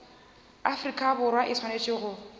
afrika borwa e swanetše go